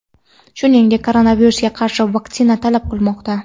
shuningdek koronavirusga qarshi vaksina talab qilmoqda.